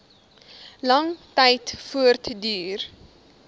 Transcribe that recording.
lang tyd voortduur